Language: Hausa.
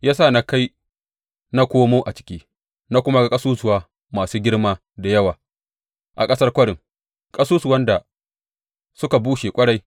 Ya sa na kai na komo a ciki, na kuma ga ƙasusuwa masu girma da yawa a ƙasar kwarin, ƙasusuwan da suka bushe ƙwarai.